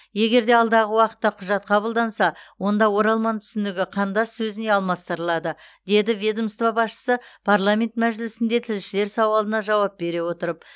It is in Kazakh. егер де алдағы уақытта құжат қабылданса онда оралман түсінігі қандас сөзіне алмастырылады деді ведомство басшысы парламент мәжілісінде тілшілер сауалына жауап бере отырып